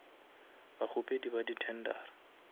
bakgopedi ba di tendera